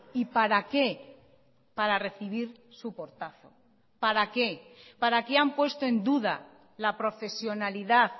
y para qué para recibir su portazo para qué para qué han puesto en duda la profesionalidad